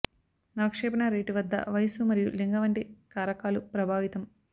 అవక్షేపణ rate వద్ద వయస్సు మరియు లింగ వంటి కారకాలు ప్రభావితం